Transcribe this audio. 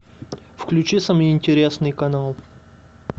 включи самый интересный канал